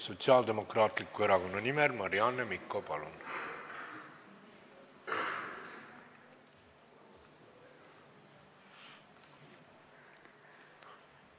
Sotsiaaldemokraatliku Erakonna nimel Marianne Mikko, palun!